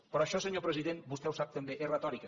però això senyor president vostè ho sap també és retòrica